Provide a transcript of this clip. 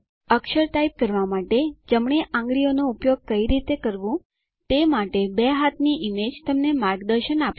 અક્ષર type કરવા માટે જમણી આંગળીનો ઉપયોગ કઈ રીતે કરવું તે માટે બે હાથની ઈમેજ તમને માર્ગદર્શન આપશે